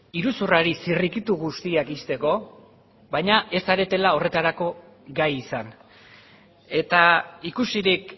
iruzurrari zirrikitu guztiak ixteko baina ez zaretela horretarako gai izan eta ikusirik